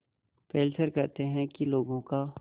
Fessler कहते हैं कि लोगों का